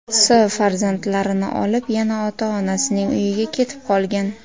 S. farzandlarini olib yana ota-onasining uyiga ketib qolgan.